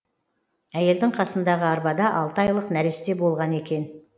әйелдің қасындағы арбада алты айлық нәресте болған екен